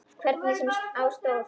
Hvernig sem á stóð.